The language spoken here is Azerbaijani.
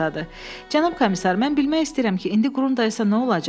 Cənab komisar, mən bilmək istəyirəm ki, indi qurum dayısı nə olacaq?